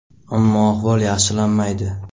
Ammo ahvol yaxshilanmaydi.